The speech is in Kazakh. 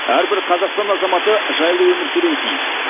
әрбір қазақстан азаматы жайлы өмір сүруі тиіс